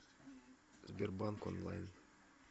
сбербанк онлайн